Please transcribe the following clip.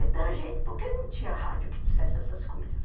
Então a gente, por que não tinha rádio que dissesse essas coisas?